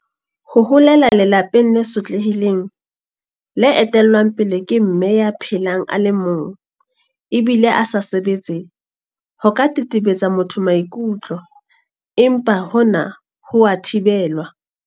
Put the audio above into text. Ho holela lelapeng le sotlehileng le etellwang pele ke Mme ya phelang a le mong ebile a sa sebetse ho ka tetebetsa motho maikutlo empa hona ha wa thibela.